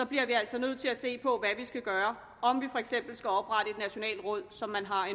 bliver vi altså nødt til at se på hvad vi skal gøre om vi for eksempel skal oprette et nationalt råd som man har